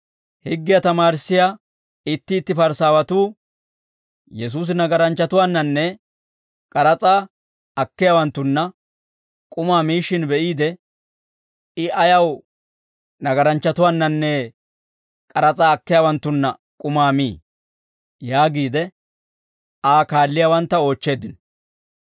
Higgiyaa tamaarissiyaa itti itti Parisaawatuu Yesuusi nagaranchchatuwaannanne k'aras'aa akkiyaawanttunna k'umaa miishshin be'iide, «I ayaw nagaranchchatuwaannanne k'aras'aa akkiyaawanttunna k'umaa mii?» yaagiide, Aa kaalliyaawantta oochcheeddino.